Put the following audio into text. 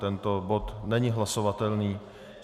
Tento bod není hlasovatelný.